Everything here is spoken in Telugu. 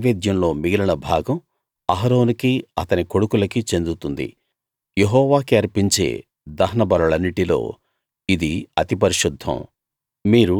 ఆ నైవేద్యంలో మిగిలిన భాగం అహరోనుకీ అతని కొడుకులకీ చెందుతుంది యెహోవాకి అర్పించే దహన బలులన్నిటిలో ఇది అతి పరిశుద్ధం